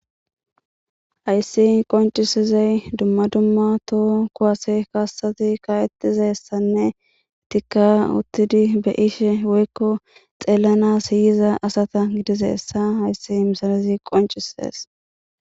hayssi qoncisizey dumma dumma to'o kuwase kaasati ka'ettizayssanne ettikka uttidi beyishshe woykko xeelana siyiza asata gidizeessa hayssi missilezi qoncisees